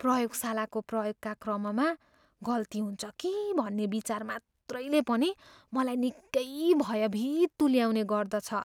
प्रयोगशालाको प्रयोगका क्रममा गल्ती हुन्छ कि भन्ने विचार मात्रैले पनि मलाई निकै भयभीत तुल्याउने गर्दछ।